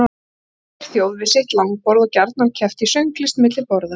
Þar sat hver þjóð við sitt langborð og gjarna keppt í sönglist milli borða.